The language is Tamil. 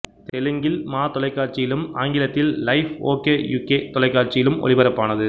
தெலுங்கில் மா தொலைகாட்சியிலும் ஆங்கிலத்தில் லைஃப் ஓகே யுகே தொலைகாட்சியிலும் ஒளிபரப்பானது